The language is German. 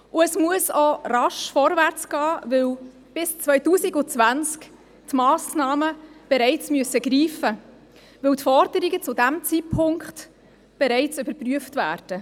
Zudem muss es auch rasch vorwärtsgehen, weil die Massnahmen bereits bis 2020 greifen müssen, weil die Forderungen zu diesem Zeitpunkt bereits überprüft werden.